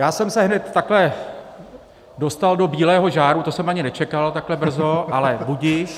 Já jsem se hned takhle dostal do bílého žáru, to jsem ani nečekal takhle brzo, ale budiž.